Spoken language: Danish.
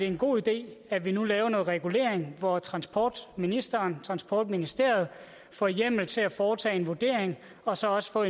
en god idé at vi nu laver noget regulering hvor transportministeren transportministeriet får hjemmel til at foretage en vurdering og så også få